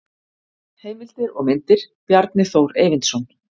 Heimildir og myndir: Bjarni Þór Eyvindsson.